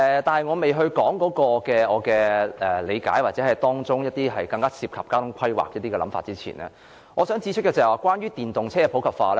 在我還沒提出我所理解的，或當中一些涉及交通規劃的想法前，我想先指出關於電動車的普及化問題。